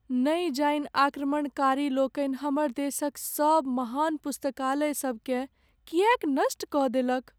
नै जानि आक्रमणकारी लोकनि हमर देशक सभ महान पुस्तकालय सब केँ किएक नष्ट कऽ देलक ।